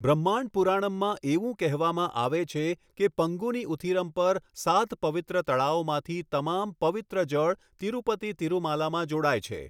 બ્રહ્માંડ પુરાણમમાં એવું કહેવામાં આવે છે કે પંગુની ઉથિરમ પર સાત પવિત્ર તળાવોમાંથી તમામ પવિત્ર જળ તિરુપતિ તિરુમાલામાં જોડાય છે.